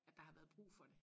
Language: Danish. At der har været brug for det